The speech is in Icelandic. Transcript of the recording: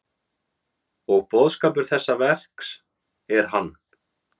Og boðskapur þessa verks, hver er hann?